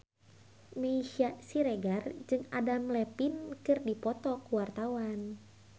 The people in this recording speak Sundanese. Meisya Siregar jeung Adam Levine keur dipoto ku wartawan